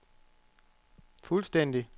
fuldstændig